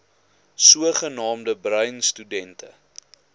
sogenaamde bruin studente